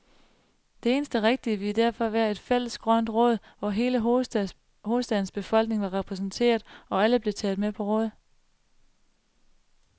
Det eneste rigtige ville derfor være et fælles grønt råd, hvor hele hovedstadens befolkning var repræsenteret, og alle blev taget med på råd.